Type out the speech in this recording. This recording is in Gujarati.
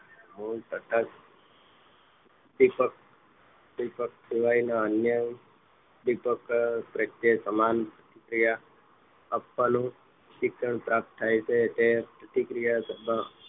મૂળ કટાક્ષ ઉપદ્દિક ઉદીપક સિવાયના અન્ય ઉદ્દીપક વચ્ચે સમાન પ્રતિક્રિયા આપવાનું શિક્ષણ પ્રાપ્ત થાય તે પ્રતિકિયા